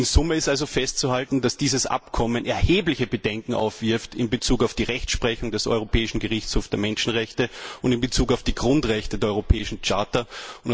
In Summe ist also festzuhalten, dass dieses Abkommen erhebliche Bedenken in Bezug auf die Rechtsprechung des Europäischen Gerichtshofs für Menschenrechte und in Bezug auf die Grundrechte der Europäischen Charta aufwirft.